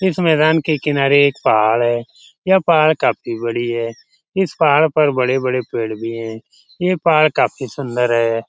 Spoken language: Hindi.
इस मैदान के किनारे एक पहाड़ है | यह पहाड़ काफ़ी बड़ी है | इस पहाड़ पे बड़े बड़े पेड़ भी हैं | यह पहाड़ काफ़ी सुंदर है ।